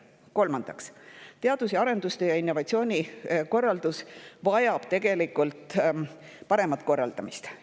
Kolmandaks, teadus‑ ja arendustegevus ning innovatsioon vajab tegelikult paremat korraldamist.